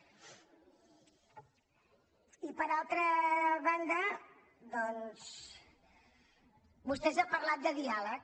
i per altra banda doncs vostè ha parlat de diàleg